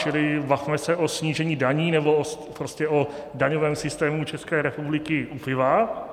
Čili bavme se o snížení daní, nebo prostě o daňovém systému České republiky u piva.